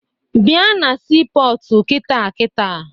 Bịa na siipọọtụ kịta kịta!